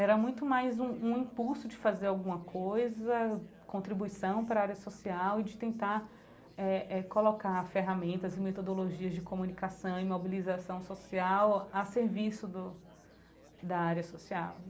Era muito mais um um impulso de fazer alguma coisa, contribuição para a área social e de tentar eh eh colocar ferramentas e metodologias de comunicação e mobilização social a serviço do da área social.